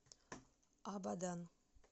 абадан